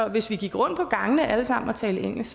hvis vi gik rundt på gangene og alle sammen talte engelsk